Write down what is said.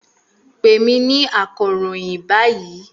Pè mí ní akọ̀ròyìn báyìí!